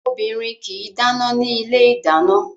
Obìnrin kì í dáná ní ilé ìdáná